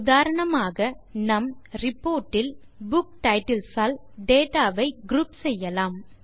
உதாரணமாக நம் reportஇல் புக் டைட்டில்ஸ் ஆல் டேட்டா வை குரூப் செய்யலாம்